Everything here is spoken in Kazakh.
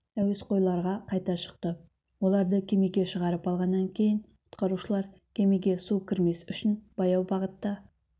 әуесқойларға қайта шықты оларды кемеге шығарып алғаннан кейін құтқарушылар кемеге су кірмес үшін баяу бағытта